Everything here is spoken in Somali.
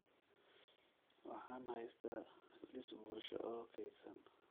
Waxaan haystaa liis bulsho oo kaydsan